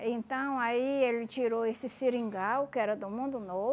então aí ele tirou esse seringal, que era do mundo